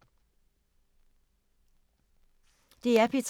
DR P3